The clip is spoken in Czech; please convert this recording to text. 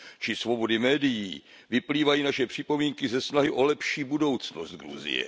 či svobody médií, vyplývají naše připomínky ze snahy o lepší budoucnost Gruzie.